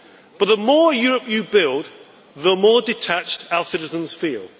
But the more Europe you build, the more detached our citizens feel.